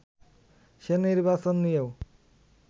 সে নির্বাচন নিয়েও